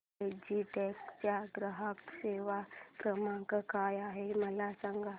Logitech चा ग्राहक सेवा क्रमांक काय आहे मला सांगा